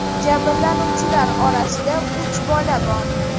Jabrlanuvchilar orasida uch bola bor.